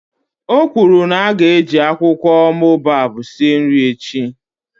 O kwuru na a ga-eji akwụkwọ boababab sie nri echi